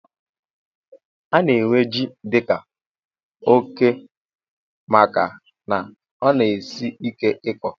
Ana ewe jị dika óké màkà na ọ na- esị ike ịkọ